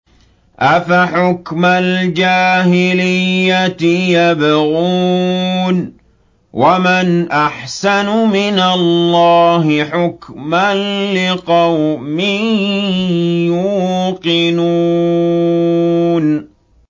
أَفَحُكْمَ الْجَاهِلِيَّةِ يَبْغُونَ ۚ وَمَنْ أَحْسَنُ مِنَ اللَّهِ حُكْمًا لِّقَوْمٍ يُوقِنُونَ